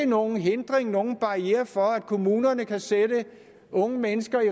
nogen hindring eller barriere for at kommunerne kan sætte unge mennesker i